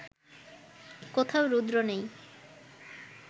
কোথাও রুদ্র নেই